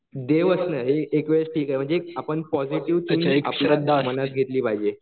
देव असणं एक वेळ ठीक आहे म्हणजे आपण पॉसिटीव्ह श्रद्धा मनात घेतली पाहिजे.